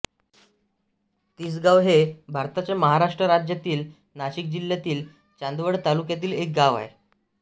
तिसगाव हे भारताच्या महाराष्ट्र राज्यातील नाशिक जिल्ह्यातील चांदवड तालुक्यातील एक गाव आहे